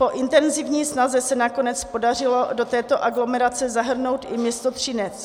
Po intenzivní snaze se nakonec podařilo do této aglomerace zahrnout i město Třinec.